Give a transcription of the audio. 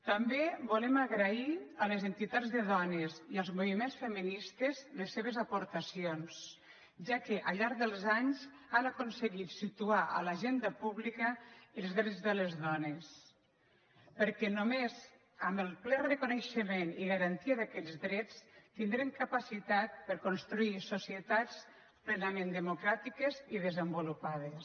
també volem agrair a les entitats de dones i als movi·ments feministes les seves aportacions ja que al llarg dels anys han aconseguit situar a l’agenda pública els drets de les dones perquè només amb el ple reconei·xement i garantia d’aquests drets tindrem capacitat per construir societats plenament democràtiques i desen·volupades